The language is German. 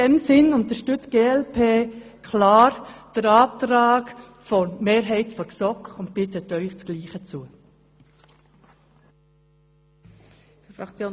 Deshalb unterstützt die glp klar den Antrag der GSoK-Mehrheit und bittet Sie, dasselbe zu tun.